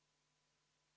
V a h e a e g